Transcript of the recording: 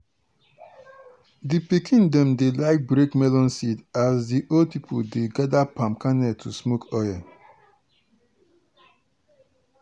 di pikin dem dey like break melon seed as di old pipo dey gather palm kernel to smoke oil.